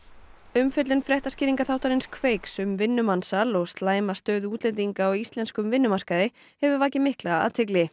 umfjöllun Kveiks um vinnumansal og slæma stöðu útlendinga á íslenskum vinnumarkaði hefur vakið mikla athygli